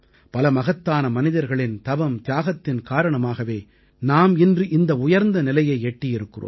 பல மகத்தான மனிதர்களின் தவம்தியாகத்தின் காரணமாகவே நாம் இன்று இந்த உயர்ந்த நிலையை எட்டியிருக்கிறோம்